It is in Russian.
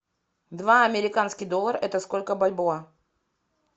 два американских доллара это сколько бальбоа